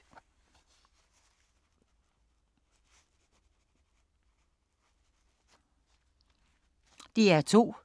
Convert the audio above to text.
DR2